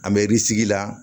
An bɛ la